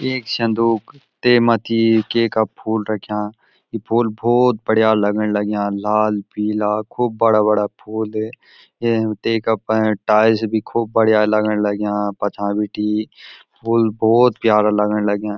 एक संदूक तै मथी केका फूल रख्याँ ये फूल भोत बढ़िया लगण लग्याँ लाल पीला खूब बड़ा-बड़ा फूल ये तेका पे टाइल्स भी खूब बढ़िया लगन लग्याँ पछां बिटी फूल भोत प्यारा लगण लग्यां।